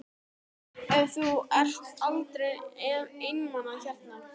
Og þú ert aldrei einmana hérna?